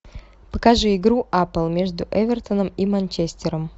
покажи игру апл между эвертоном и манчестером